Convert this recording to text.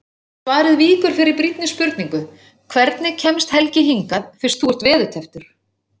Svarið víkur fyrir brýnni spurningu: Hvernig kemst Helgi hingað fyrst þú ert veðurtepptur?